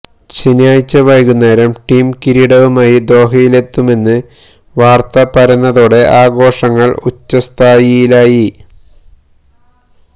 ശനിയാഴ്ച വൈകുന്നേരം ടീം കിരീടവുമായി ദോഹയിലെത്തുമെന്ന് വാര്ത്ത പരന്നതോടെ ആഘോഷങ്ങള് ഉച്ഛസ്ഥായിലായി